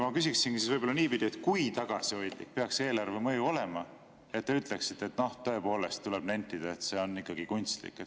Ma küsingi siis niipidi, et kui tagasihoidlik peaks eelarveline mõju olema, et te ütleksite, et tõepoolest tuleb nentida, et see on ikkagi kunstlik.